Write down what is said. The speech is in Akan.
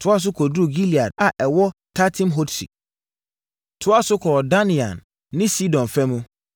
toaa so kɔduruu Gilead a ɛwɔ Tatim-hodsi, toaa so kɔɔ Dan Yaan ne Sidon fa mu.